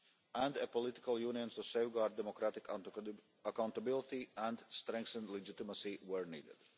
and a political union to safeguard democratic accountability and strengthen legitimacy where needed.